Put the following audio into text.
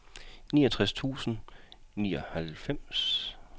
niogtres tusind og nioghalvfjerds